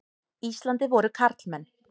Íslandi voru karlmenn.